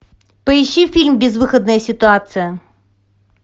поищи фильм безвыходная ситуация